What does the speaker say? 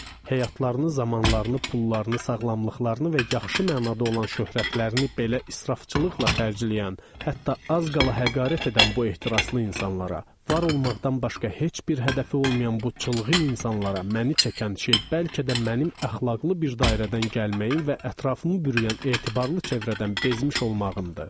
Həyatlarını, zamanlarını, pullarını, sağlamlıqlarını və yaxşı mənada olan şöhrətlərini belə israfçılıqla xərcləyən, hətta az qala həqarət edən bu ehtiraslı insanlara, var olmaqdan başqa heç bir hədəfi olmayan bu çılğın insanlara məni çəkən şey bəlkə də mənim əxlaqlı bir dairədən gəlməyim və ətrafımı bürüyən etibarlı çevrədən bezmiş olmağımdır.